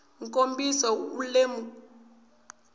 kombisa u lemuka vutivi hi